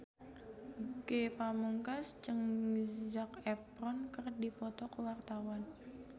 Ge Pamungkas jeung Zac Efron keur dipoto ku wartawan